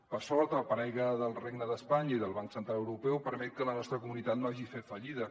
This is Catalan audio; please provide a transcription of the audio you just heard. per sort el paraigua del regne d’espanya i del banc central europeu permet que la nostra comunitat no hagi fet fallida